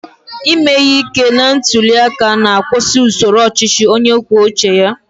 Ime ihe ike na ntuli aka na-akwụsị usoro ọchịchị onye kwuo uche ya.